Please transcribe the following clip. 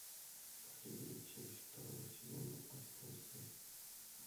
последняя часть второго сезона отбросы